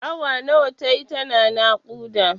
Awa nawa tayi tana naƙuda?